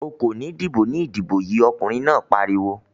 "O kò ní dìbò ní ìdìbò yìí!" Ọkùnrin náà pariwo.